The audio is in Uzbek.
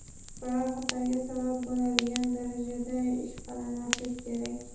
biror xatarga sabab bo‘ladigan darajada ishqalamaslik kerak.